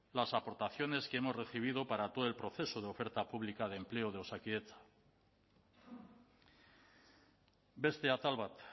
las aportaciones que hemos recibido para todo el proceso de oferta pública de empleo de osakidetza beste atal bat